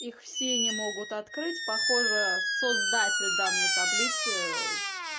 их все не могут открыть похоже создатель данной таблицы